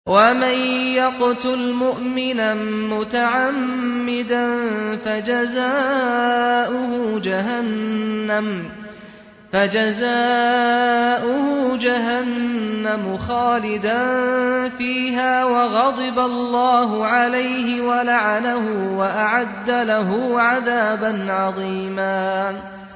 وَمَن يَقْتُلْ مُؤْمِنًا مُّتَعَمِّدًا فَجَزَاؤُهُ جَهَنَّمُ خَالِدًا فِيهَا وَغَضِبَ اللَّهُ عَلَيْهِ وَلَعَنَهُ وَأَعَدَّ لَهُ عَذَابًا عَظِيمًا